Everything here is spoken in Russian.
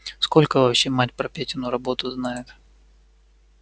сколько вообще мать про петину работу знает